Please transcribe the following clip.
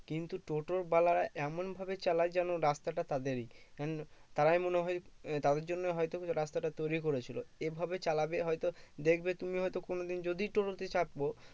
কিন্তু টোটোর বেলায় এমন ভাবে চালায় যেন রাস্তাটা তাদেরই কারণ তারাই মনে হয়ে তাদের জন্য হয়তো রাস্তাটা তৈরী করেছিল এভাবে চালাবে হয়তো দেখবে তুমি হয়তো কোনো দিন যদি টোটোতে চাপবো